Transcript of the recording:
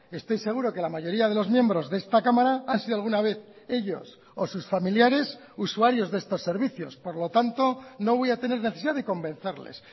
estoy seguro que la mayoría de los miembros de esta cámara han sido alguna vez ellos o sus familiares usuarios de estos servicios por lo tanto no voy a tener necesidad de convencerles